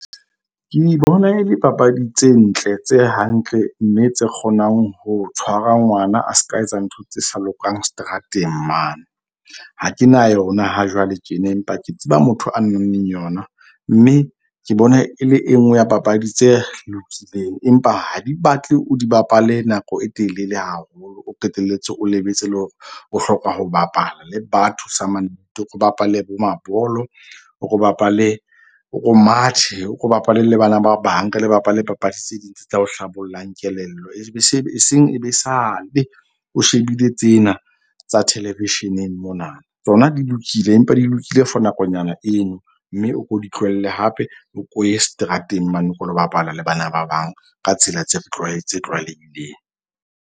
Ke bona e le papadi tse ntle, tse hantle mme tse kgonang ho tshwara ngwana a ska etsa ntho tse sa lokang seterateng mane. Ha ke na yona ha jwale tjena, empa ke tseba motho a nang le yona. Mme ke bona e le e nngwe ya papadi tse lokileng. Empa ha di batle o di bapale nako e telele haholo, o qetelletse o lebetse le hore o hloka ho bapala le batho samannete. O bapale bo mabolo, o ko bapale o mathe o bapale le bana ba bang. Ke le bapale papadi tse ding tse tla o hlabollang kelello ebe se eseng e be sale, o shebile tsena tsa television-eng mona. Tsona di lokile, empa di lokile for nakonyana eno mme o ko di tlohelle, hape o ko ye seterateng mane o ko lo bapala le bana ba bang. Ka tsela tse tse tlwaelehileng.